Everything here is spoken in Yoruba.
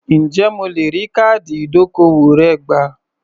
Ǹjẹ́ mo lè rí káàdì ìdókòwò rẹ gbà?